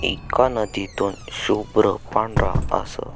एका नदीतून शुभ्र पांढरा असं--